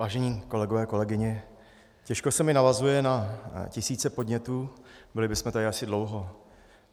Vážení kolegové, kolegyně, těžko se mi navazuje na tisíce podnětů, byli bychom tady asi dlouho.